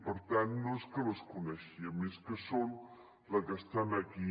per tant no és que les coneixíem és que són les que estan aquí